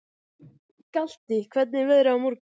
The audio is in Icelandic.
Galti, hvernig er veðrið á morgun?